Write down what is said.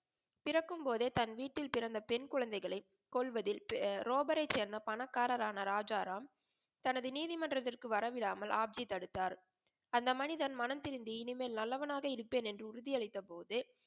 பிறக்கும்போதே தன் வீட்டில் பிறந்த பெண் குழந்தைகளை கொள்வதில் ரோபரை சேர்ந்த பணக்காரரான ராஜாராம் தனது நீதிமன்றத்திற்கு வரவிடாமல் ஹாப்ஜி தடுத்தார். அந்த மனிதன் மணம்திருந்தி இனிமேல் நல்லவனா இருப்பேன் என்று உறுதி அளித்தபோது,